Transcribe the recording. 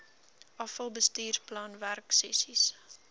afal bestuursplan werksessies